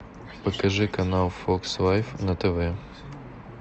покажи канал фокс лайф на тв